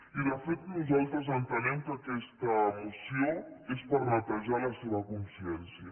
i de fet nosaltres entenem que aquesta moció és per netejar la seva consciència